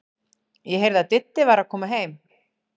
Ég heyrði að Diddi var að koma heim.